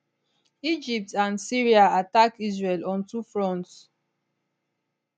egypt and syria attack israel on two fronts